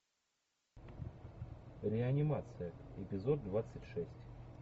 реанимация эпизод двадцать шесть